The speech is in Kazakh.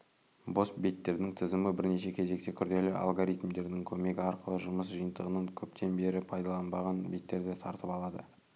бос беттердің тізімі бірінші кезекте күрделі алгоритмдердің көмегі арқылы жұмыс жиынтығынан көптен бері пайдаланбаған беттерді тартып алады